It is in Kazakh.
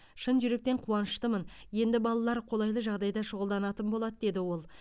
шын жүректен қуаныштымын енді балалар қолайлы жағдайда шұғылданатын болады деді ол